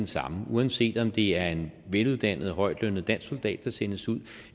samme uanset om det er en veluddannet højtlønnet dansk soldat der sendes ud